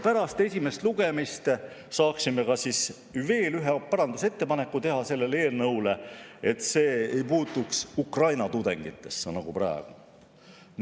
Pärast esimest lugemist saaksime teha veel ühe parandusettepaneku selle eelnõu kohta, nii et see ei puutuks Ukraina tudengitesse, nagu praegu.